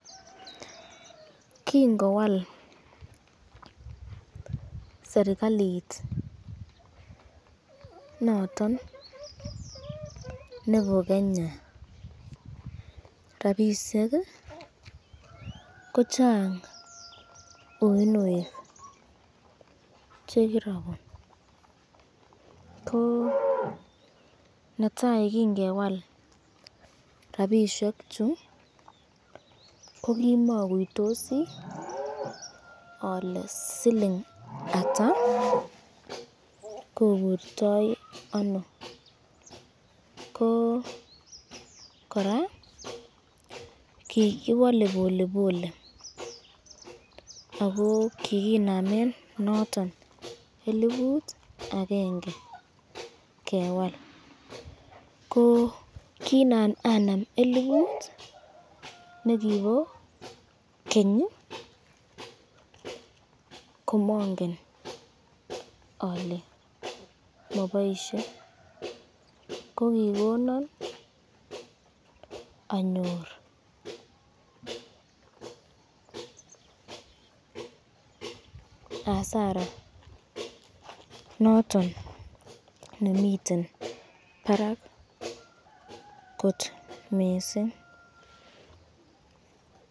Kingowal serikalit noton nebo Kenya rapishek ,ko Chang , ko netai kinfewal rapishek chu kokimakuitosi ale siling ata koburto ano